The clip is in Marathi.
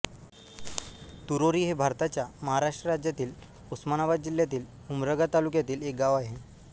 तुरोरी हे भारताच्या महाराष्ट्र राज्यातील उस्मानाबाद जिल्ह्यातील उमरगा तालुक्यातील एक गाव आहे